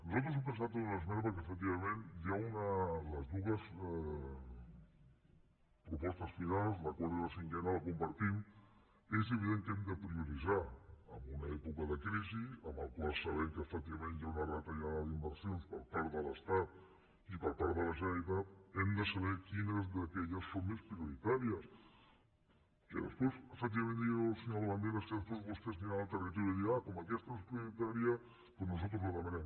nosaltres hem pensat en una esmena perquè efectivament les dues propostes finals la quarta i la cinquena les compartim és evident que hem de prioritzar en una època de crisi en què sabem que efectivament hi ha una retallada d’inversions per part de l’estat i per part de la generalitat hem de saber quines d’aquelles són més prioritàries que després efectivament digui el senyor labandera que després vostès aniran al territori i diran ah com que aquesta no és prioritària doncs nosaltres la demanem